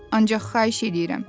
Ancaq xahiş eləyirəm.